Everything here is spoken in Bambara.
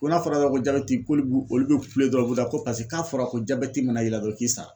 Ko n'a fɔra yɔrɔ min ko jabɛti ko iku bɛ olu kule dɔrɔnw ko paseke k'a fɔra ko jabɛti mana y'i ra k'i sala!